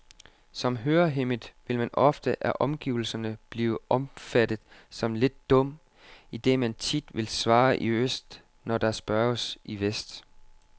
Som hørehæmmet vil man ofte af omgivelserne blive opfattet som lidt dum, idet man tit vil svare i øst, når der spørges i vest.